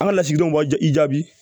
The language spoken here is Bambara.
An ka lasigidenw b'a i jaabi